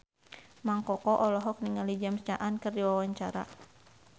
Mang Koko olohok ningali James Caan keur diwawancara